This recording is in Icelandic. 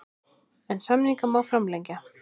En samninga má framlengja.